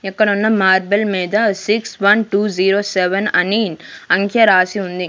ఇక్కడున్న మార్బుల్ మీద six one two zero seven అని అంకె రాసి ఉంది.